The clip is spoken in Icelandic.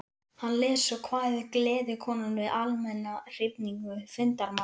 Hann les svo kvæðið Gleðikonan við almenna hrifningu fundarmanna.